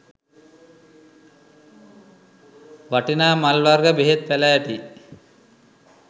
වටිනා මල් වර්ග බෙහෙත් පැළෑටි